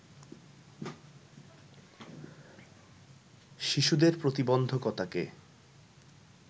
শিশুদের প্রতিবন্ধকতাকে